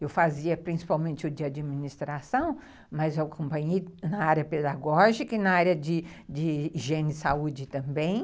Eu fazia principalmente o de administração, mas eu acompanhei na área pedagógica e na área de higiene e saúde também.